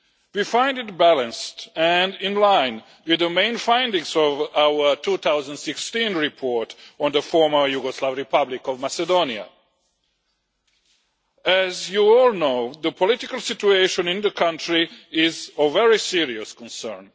We find it balanced and in line with the main findings of our 2016 report on the Former Yugoslav Republic of Macedonia. As you all know, the political situation in the country is of very serious concern.